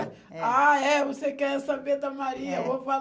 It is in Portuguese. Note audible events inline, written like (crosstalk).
(unintelligible) Ah, é, você quer saber da Maria, eh, vou